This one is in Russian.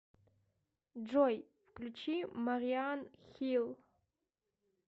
джой включи мариан хилл